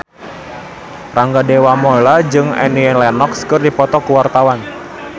Rangga Dewamoela jeung Annie Lenox keur dipoto ku wartawan